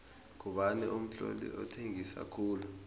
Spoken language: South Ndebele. ngubani umtloli othengisa khulu